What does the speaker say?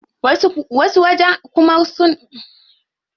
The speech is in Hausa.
Wasu wajen kuma suna yin duka abincin yan Najeriya.